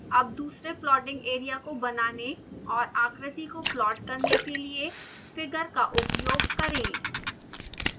अब दूसरे plotting area को बनाने और आकृति को प्लॉट करने के लिए figure का उपयोग करें